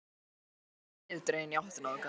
Sjálf lötraði ég niðurdregin í áttina þangað.